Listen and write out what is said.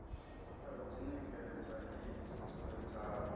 ya u ḓiṋekedza i ṱuṱuwedzaho